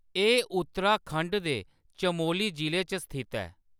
एह्‌‌ उत्तराखंड दे चमोली जि'ले च स्थित ऐ।